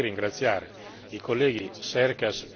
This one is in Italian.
Credo che dobbiamo essere orgogliosi di questa soluzione.